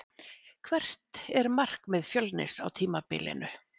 Hvert er markmið Fjölnis á tímabilinu?